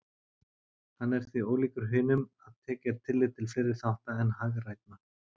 Hann er því ólíkur hinum að tekið er tillit til fleiri þátta en hagrænna.